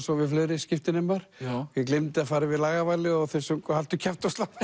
og við fleiri skiptinemar ég gleymdi að fara yfir lagavalið og þeir sungu haltu kjafti og slappaðu